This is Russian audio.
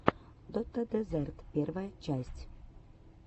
дота дезерт первая часть